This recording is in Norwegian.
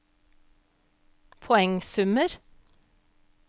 poengsummer